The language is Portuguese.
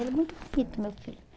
Ele é muito bonito, meu filho.